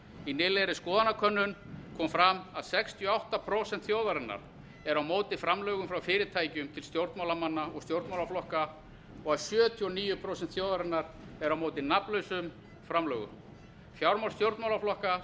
í nýlegri skoðanakönnun kom fram að sextíu og átta prósent þjóðarinnar eru á móti framlögum frá fyrirtækjum til stjórnmálamanna og stjórnmálaflokka og að sjötíu og níu prósent þjóðarinnar eru á móti nafnlausum framlögum fjármál stjórnmálaflokka